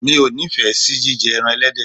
Mi ò ní ìfẹ́ sí jíjẹ ẹran ẹlẹ́dẹ̀.